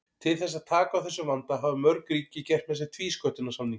Til þess að taka á þessum vanda hafa mörg ríki gert með sér tvísköttunarsamninga.